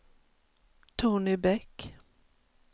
Tony Bäck